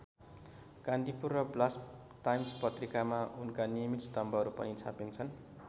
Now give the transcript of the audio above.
कान्तिपुर र Blast Times पत्रिकामा उनका नियमित स्तम्भहरू पनि छापिन्छन्।